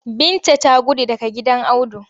Binta ta gudu daga gidan Audu.